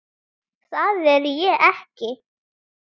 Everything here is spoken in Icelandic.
Það er ég ekki.